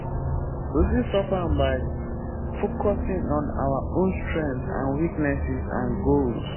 we fit stop am by focusing on our own strengths and weaknesses and goals.